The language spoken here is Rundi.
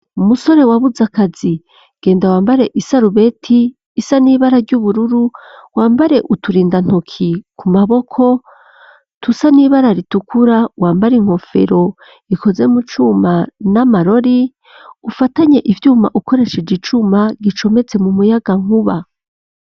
Umusore wabuze akazi, genda wambare isarubeti isa n'ibara ry'ubururu, wambare uturinda ntoki ku maboko dusa n'ibara ritukura, wambare inkofero ikoze mu cuma n'amarori, ufatanye ivyuma ukoresheje icuma gicometse mu muyagankuba.